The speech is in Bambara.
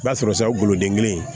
I b'a sɔrɔ saga goloden kelen